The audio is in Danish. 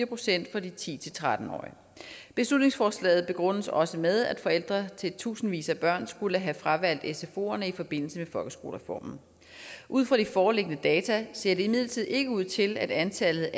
procent for de ti til tretten årige beslutningsforslaget begrundes også med at forældre til tusindvis af børn skulle have fravalgt sfoerne i forbindelse med folkeskolereformen ud fra de foreliggende data ser det imidlertid ikke ud til at antallet